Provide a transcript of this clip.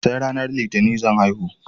Sai ranar litinin zan haihu